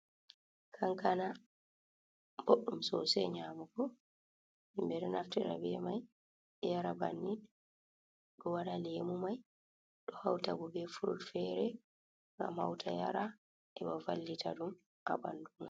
Kankana ɓoɗɗum soosey nyaamugo, himɓe ɗon naftira be may yara banni, ɗo waɗa leemu may, ɗo hawta boo be furut feere ngam hawta yara heɓa vallita ɗum haa ɓanndu.